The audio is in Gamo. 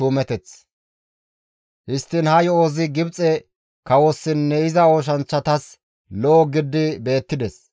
Histtiin ha yo7ozi Gibxe kawossinne iza oosanchchatas lo7o gididi beettides.